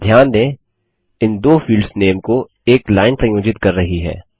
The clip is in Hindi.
ध्यान दें इन दो फील्ड्स नेम को एक लाइन संयोजित कर रही है